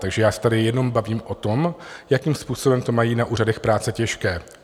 Takže já se tady jenom bavím o tom, jakým způsobem to mají na úřadech práce těžké.